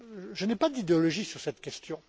Je n'ai pas d'idéologie sur cette question.